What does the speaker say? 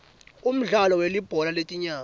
umdlalo welibhola letinyawo